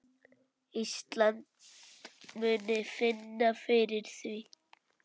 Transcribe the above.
Ísland muni finna fyrir því.